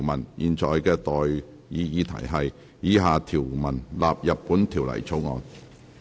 我現在向各位提出的待議議題是：以下條文納入本條例草案。